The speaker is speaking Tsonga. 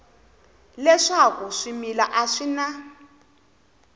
leswaku swimila a swi na